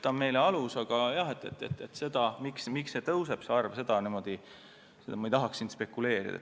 Aga selle üle, miks see arv teinekord kasvab, ma ei taha siin spekuleerida.